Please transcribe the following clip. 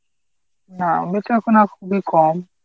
না বেচাকেনা খুবই কম।